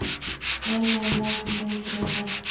Nei, nei, látum þau í friði.